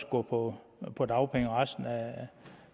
gå på på dagpenge resten